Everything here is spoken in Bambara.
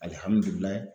Alihamudulila